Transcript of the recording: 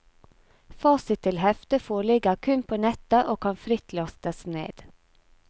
Fasit til heftet foreligger kun på nettet og kan fritt lastes ned.